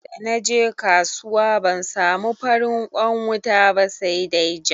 Da naje kasuwa ban samu farin kwan wuta ba sa dai ja.